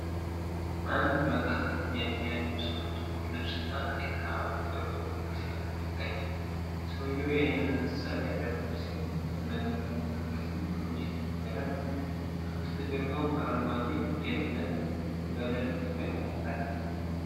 አንድ መካከለኛ እድሜ ያለው ሰው ጥቁር ልብስ እና ቀይ ክራባት አድርጎ ንግግር ሲያደርግ ይታያል። ሰውዬው ዓይነ-መነጸር ያደረገ ሲሆን፣ በቁም ነገር እና በትኩረት ንግግሩን እየተናገረ ነው። ከበስተጀርባው አረንጓዴ የእብነ በረድ ግድግዳ አለ።